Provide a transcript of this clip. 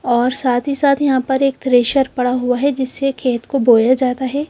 और साथ ही साथ यहाँ पर कुछ थ्रेशर पडा हुआ है जिससे खेत को बोया जाता है।